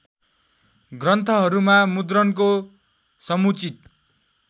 ग्रन्थहरूका मुद्रणको समुचित